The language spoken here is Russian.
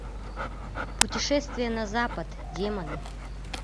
путешествие на запад демоны